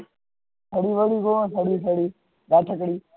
ખડી વળી જોવો